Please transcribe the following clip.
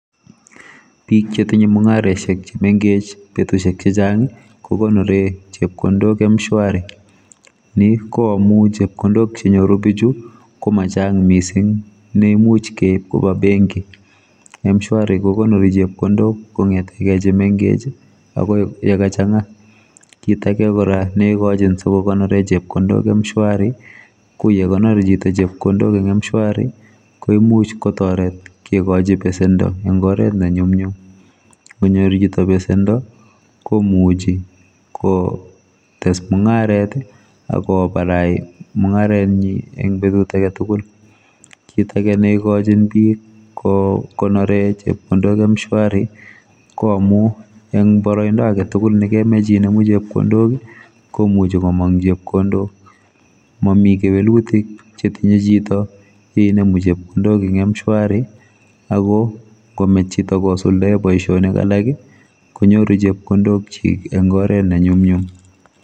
bik chetinye mungaresiek chemengech betusiek chechang kokonore chepkondok m-shwari ni koamu chepkondok chenyoru bichu komachang mising neimuch keib koba benki mshwari kokonori chepkondok kongetegei chemengech akoi yekachanga kit ake kora neikachin sikokonore chepkondok mshwari koyekonor chito chepkondok eng mshwari koimuch kotoret kekochi besendo eng oret nenyumnyum ngonyor chito besendo komuchi kotes mungaret akobarai mungaretnyi betut aketugul kiit ake neikochin bik kokonore chepkondok mshwari koamu eng boroindo agetugul nekemach inemu chepkondok komuchi komong chepkondok mami kewelutik chetinye chito yeinemu chepkondok ing m shwari ako ngomech chito kosuldae boisionik alak konyoru chepkondokchik eng oret nenyumnyum .